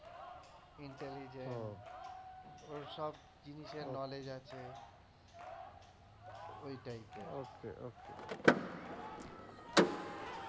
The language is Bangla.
intelligent ওর সব জিনিসের knowledge আছে ওর type এর